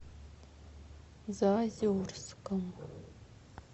заозерском